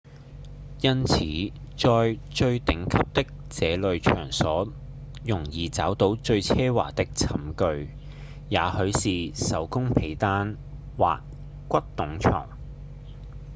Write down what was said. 因此在最頂級的這類場所容易找到最奢華的寢具也許是手工被單或骨董床